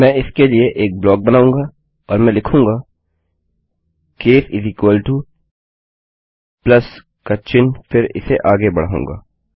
मैं इसके लिए एक ब्लाक बनाऊँगा और मैं लिखूँगा केस प्लस का चिह्न फिर इसे आगे बढाऊँगा